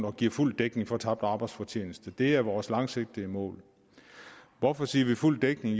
og giver fuld dækning for tabt arbejdsfortjeneste det er vores langsigtede mål hvorfor siger vi fuld dækning